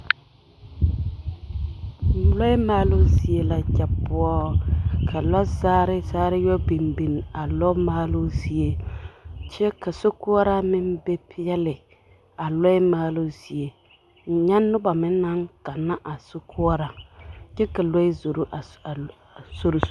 Lɔɛ maaloo zie la kyɛ poɔ, ka lɔzagere zagere yɔ biŋ biŋ a lɔɛ maaloo zie kyɛ ka sokoɔraa meŋ be peɛle a lɔɛ maaloo zie, nyɛ noba meŋ naŋ ganna a sokoɔraa kyɛ ka lɔɛ zoro a sori zu.